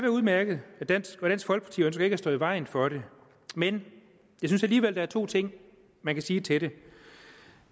udmærket og dansk folkeparti ønsker ikke at stå i vejen for det men jeg synes alligevel at der er to ting man kan sige til det